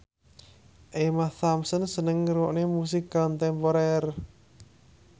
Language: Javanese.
Emma Thompson seneng ngrungokne musik kontemporer